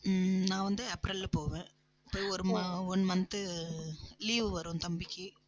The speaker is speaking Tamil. உம் நான் வந்து ஏப்ரல்ல போவேன் போய் ஒரு மா~ one month leave வரும் தம்பிக்கு